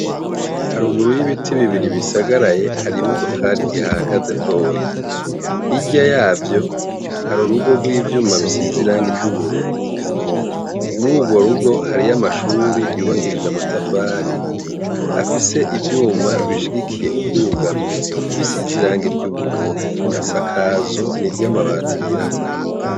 Haruguru y'ibiti bibiri bisagaraye, hari imodokari ihahagaze ntoyi. Hirya yavyo, hari urugo rw'ivyuma rusize irangi ry'ubururu. Mur'urwo rugo, hariyo amashuri yubakishije amatafari afise ivyuma bishigikiye ubwugamo bisize irangi ry'ubururu. Isakazo ni iry'amabati yirabura.